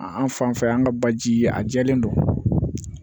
An fan fɛ yan an ka baji ye a jɛlen don